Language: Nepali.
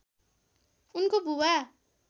उनको बुवा